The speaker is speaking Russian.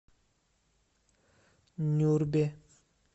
нюрбе